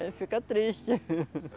Aí fica triste.